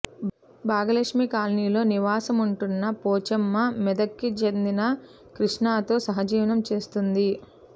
భాగ్యలక్ష్మి కాలనీలో నివాసముంటున్న పోచమ్మ మెదక్కి చెందిన క్రిష్ణతో సహజీవనం చేస్తోంది